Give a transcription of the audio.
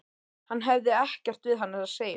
Hann hefði ekkert við hana að segja.